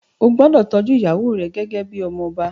Ó gbúdọ̀ tọ́jú ìyàwó rẹ gẹ́gẹ́ bíi ọmọ ọba.